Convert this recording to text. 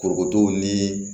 Korokoto ni